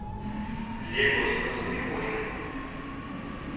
лего звездные войны